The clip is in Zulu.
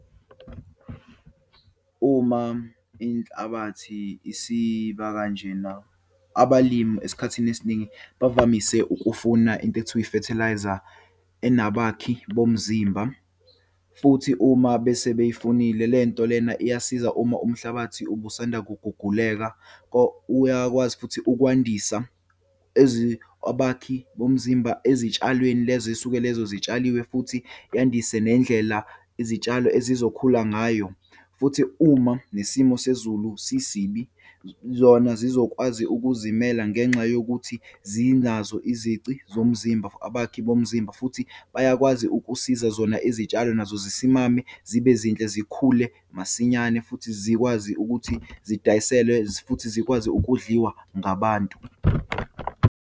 Uma inhlabathi isiba kanjena, abalimi esikhathini esiningi bavamise ukufuna into ekuthiwa i-fertiliser, enabakhi bomzimba. Futhi, uma bese beyifunile lento lena, iyasiza uma umhlabathi obusanda kuguguleka. Uyakwazi futhi ukwandisa abakhi bomzimba ezitshalweni lezo eyisuke lezo zitshaliwe futhi yandise nendlela izitshalo ezizokhula ngayo. Futhi, uma nesimo sezulu sisibi, zona zizokwazi ukuzimela ngenxa yokuthi zinazo izici zomzimba. Abakhi bomzimba futhi bayakwazi ukusiza zona izitshalo nazo zisimame zibe zinhle, zikhule masinyane, futhi zikwazi ukuthi zidayiselwe futhi zikwazi ukudliwa ngabantu.